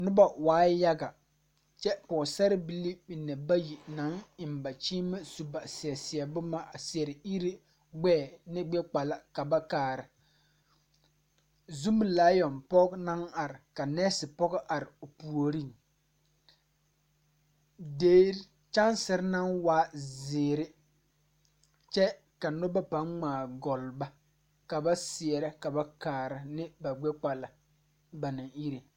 Nobɔ waara yaga kyɛ pɔɔsarebilii mine bayi naŋ eŋ ba kyeemɛ su ba seɛ bomma a seɛrɛ ire gbɛɛ ne gbɛ gbala ka ba kaara zumilaayɔn pɔge naŋ are ka nɛɛse pɔgɔ are o puoriŋ derre kyɛnserre naŋ waa zeere kyɛ ka nobɔ paŋ ngmaa gɔlle ba ka ba seɛrɛ ka ba kaara ne ba gbɛ kpala ba naŋ ire.